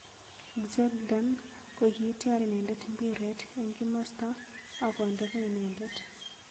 Xherdan kokityar inendet mpiret eng kimosta ak konde ko inendet.